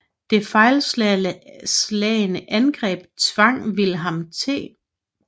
Det fejlslagne angreb tvang William T